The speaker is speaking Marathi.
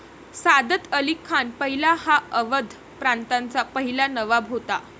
सादत अली खान पहिला हा अवध प्रांताचा पहिला नवाब होता।